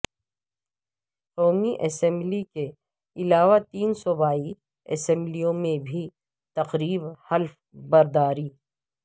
قومی اسمبلی کے علاوہ تین صوبائی اسمبلیوں میں بھی تقریب حلف برداری